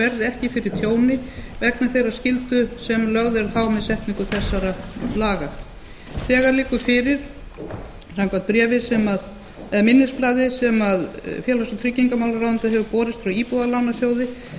verði ekki fyrir tjóni vegna þeirrar skyldu sem lögð er á þær með setningu laganna samkvæmt minnisblaði sem félags og tryggingamálaráðuneyti hefur borist frá íbúðalánasjóði